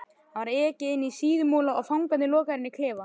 Þá var ekið inní Síðumúla og fangarnir lokaðir inní klefa.